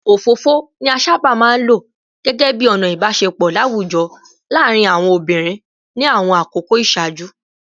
Òfófó ni a sábà máa ń lò gẹ́gẹ́ bí ọ̀nà ìbáṣepọ̀ láwùjọ láàárín àwọn obìnrin ní àwọn àkókò ìṣáájú